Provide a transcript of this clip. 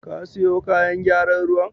Ka siyo kayan gyaran ruwan?